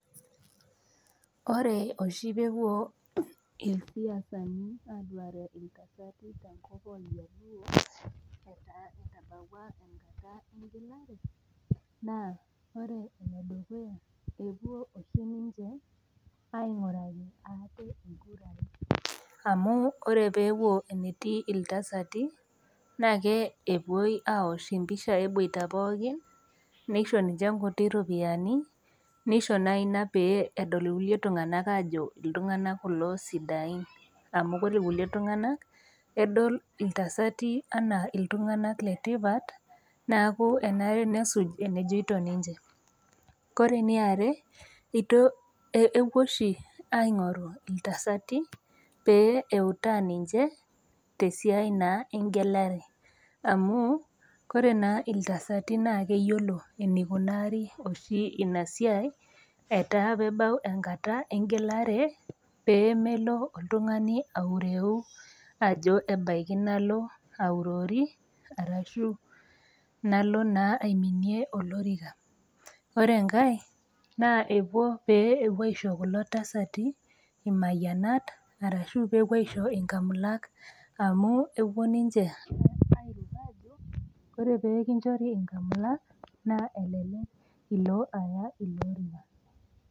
Ore oshu peepuo ilsiasani aduare iltasati te nkop oljaluo etaa etabauwa enkata engelare naa ore nedukuya, epuo oshi ninche ainguraki ate nkurai amu ore peepuo enetii iltasati naa kepuo awuosh impishai ebuata pookin neisho ninche nkutii iropiyiani neisho inaina peedol ilkulie tunganak aajo ltunganak kulo sidain amu kore lkulie tunganak edol iltasati anaa iltunganak le tipat neaku enare nesuj enejoitp ninche. Kore neare etu, epuo oshi aing'oru iltasati pee eutaa ninche te siai naa engelare amuu kore naa iltasati naa keyolo neikunari oshi inia siai etaa peebau enkata engelare peemelo oltungani aureu ajo imaniki nalo aurori arashu nalo naa aiminie olorika. Ore enkae naa epuo pee epo aisho kulo tasati lainyangaka arashu kepuo aisho inkamilak amu kepo ninche airuk aajo kore pee kinchori inkamilak naa elelek ilo aya ilo lorika.